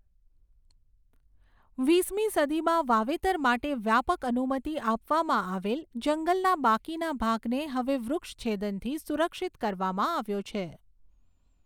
વીસમી સદીમાં વાવેતર માટે વ્યાપક અનુમતિ આપવામાં આવેલ, જંગલના બાકીના ભાગને હવે વૃક્ષછેદનથી સુરક્ષિત કરવામાં આવ્યો છે.